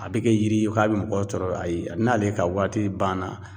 A be kɛ yiri ye k'a be mɔgɔw tɔɔrɔ . Ayi a n'ale ka waati ban na